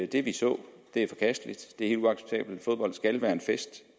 det vi så er forkasteligt det er helt uacceptabelt fodbold skal være en fest